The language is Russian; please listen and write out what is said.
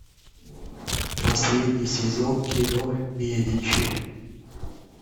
последний сезон кино медичи